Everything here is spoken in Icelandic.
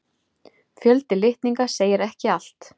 Fjöldi litninga segir ekki allt.